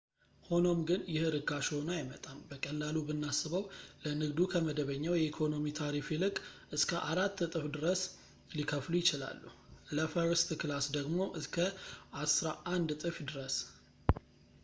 ሆኖም ግን ይህ ርካሽ ሆኖ አይመጣም በቀላሉ ብናስበው ለንግዱ ከመደበኛው የኢኮኖሚ ታሪፍ ይልቅ እስከ አራት እጥፍ ድረስ ሊከፍሉ ይችላሉ ለፈርስት ክላስ ደግሞ እስከ አስራ አንድ እጥፍ ድረስ